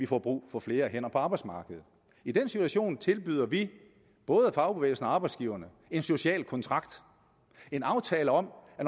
får brug for flere hænder på arbejdsmarkedet i den situation tilbyder vi både fagbevægelsen og arbejdsgiverne en social kontrakt en aftale om at